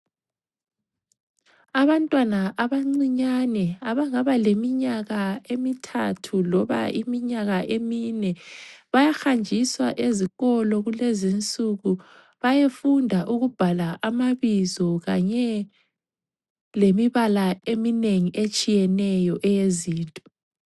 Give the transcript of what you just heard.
Abantwana abancinyane abangaba leminyaka emithathu loba iminyaka emine bayahanjiswa ezikolo kulezinsuku bayefunda ukubhala amabizo kanye lemibala eminengi etshiyeneyo eyezinto.